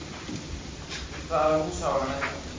Í hvaða hús á hann að venda?